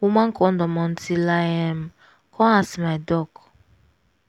woman kondom until i um come ask my doc.